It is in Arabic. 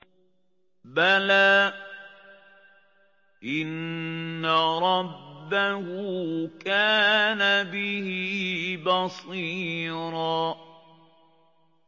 بَلَىٰ إِنَّ رَبَّهُ كَانَ بِهِ بَصِيرًا